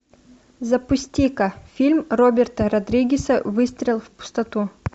запусти ка фильм роберта родригеса выстрел в пустоту